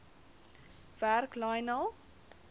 werk lionel